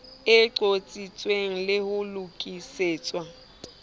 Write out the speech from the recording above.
e qotsitswe le ho lokisetswa